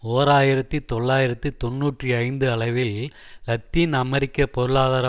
ஓர் ஆயிரத்தி தொள்ளாயிரத்து தொன்னூற்றி ஐந்து அளவில் இலத்தீன் அமெரிக்க பொருளாதார